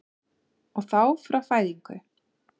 Og þá frá fæðingu?